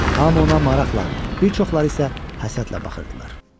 Hamı ona maraqla, bir çoxları isə həsədlə baxırdılar.